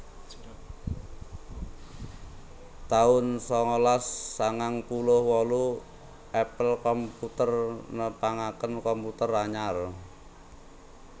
taun sangalas sangang puluh wolu Apple Computer nepangaken komputer anyar